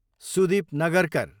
Sudeep Nagarkar